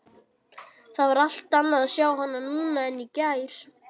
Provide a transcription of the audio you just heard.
Það var allt annað að sjá hana núna en í gær.